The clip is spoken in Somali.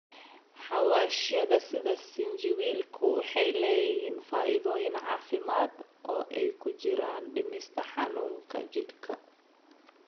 Xawaashyada sida sinjibiilku waxay leeyihiin faa'iidooyin caafimaad, oo ay ku jiraan dhimista xanuunka jidhka.